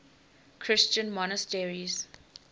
christian monasteries